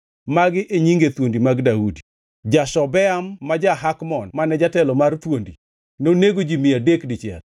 Magi e nyinge thuondi mag Daudi: Jashobeam ma ja-Hakmon mane jatelo mar thuondi, nonego ji mia adek dichiel.